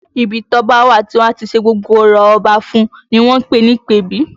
Ibi tí ọba a wà tí wọ́n á ti ṣe gbogbo orò Ọba fún un ni wọ́n ń pè ní ìpèbí